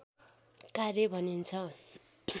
कार्य भनिन्छ